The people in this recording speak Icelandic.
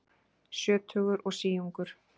Sjötugur og síungur